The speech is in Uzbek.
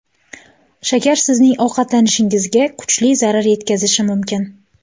Shakar sizning ovqatlanishingizga kuchli zarar yetkazishi mumkin.